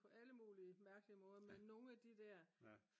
på alle mulige mærkelige måder men nogen af de der